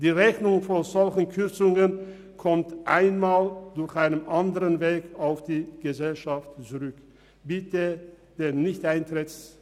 Die Rechnung, die solche Kürzungen nach sich ziehen, erhält die Gesellschaft einmal auf einem anderen Weg zurück.